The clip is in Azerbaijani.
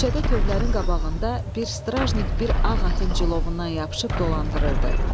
Küçədə tövlələrin qabağında bir strajnik bir ağ atın cilovundan yapışıb dolandırırdı.